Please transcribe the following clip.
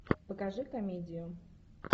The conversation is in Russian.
покажи комедию